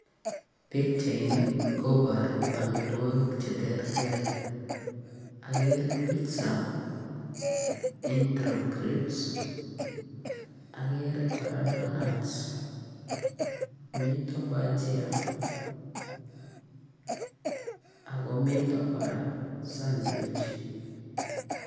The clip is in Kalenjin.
Pichaini kobaru amitwagik che terter. Agere pitsa, entro crips, agere kora donats, mitei bajia, ako mito kora sandwitch.